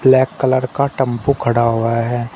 Black colour का टम्पू खड़ा हुआ है।